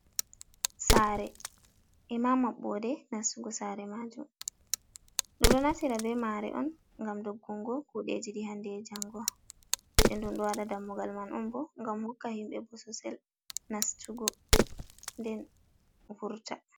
Saare bee maɓɓoode nastugo saare maajum ɗum ɗo naftira bee maare on ngam doggungo kuudeeji ɗi handee e janngo, nden ndaa ɗum ɗo wada dammugal man on boo ngam hokka himɓe bososel nastugo nden vurta.